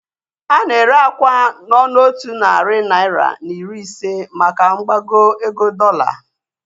Ana ere akwa n'ọnụ otu narị naira na iri ise maka mgbago ego dọola.